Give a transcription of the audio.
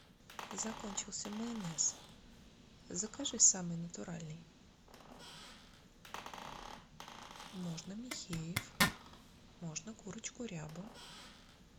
закончился майонез закажи самый натуральный можно михеев можно курочку рябу